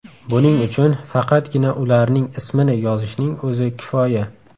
Buning uchun faqatgina ularning ismini yozishning o‘zi kifoya.